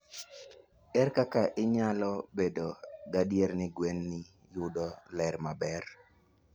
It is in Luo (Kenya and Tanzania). Ere kaka inyalo bedo gadier ni gwenini yudo ler maber?